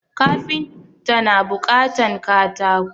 Kafinta na buƙatan katako